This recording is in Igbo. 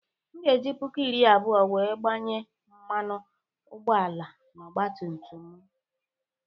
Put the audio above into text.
M ga-eji puku iri abụọ wee gbanye mmanụ ụgbọala n'ọgba tum tum m.